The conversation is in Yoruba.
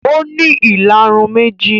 Ó ní ìlarun méjì